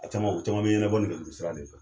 A caman , o caman be ɲɛnabɔ nɛgɛjuru sira de fɛ.